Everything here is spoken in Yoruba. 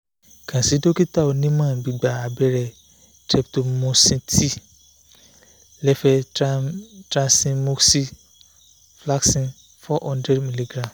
kan si dokita onimo gbigba abere streptomucin t levecetracyin moxi flaxin four hundred milligram